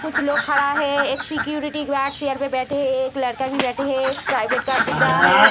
कुछ लोग खड़ा है एक सिक्यूरिटी गार्ड चेयर पे बैठे है एक लड़का भी बैठे है एक प्राइवेट कार दिख रहा है।